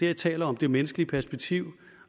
jeg taler om det menneskelige perspektiv